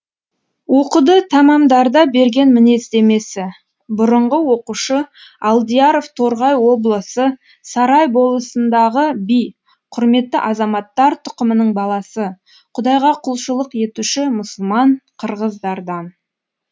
оқуды тәмамдарда берген мінездемесі бұрынғы оқушы алдияров торғай облысы сарай болысындағы би құрметті азаматтар тұқымының баласы құдайға құлшылық етуші мұсылман қырғыздардан